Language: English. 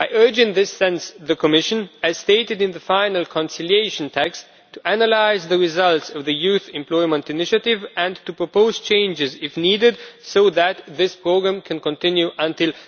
In this sense I urge the Commission, as stated in the final conciliation text, to analyse the results of the Youth Employment initiative and to propose changes, if needed, so that this programme can continue until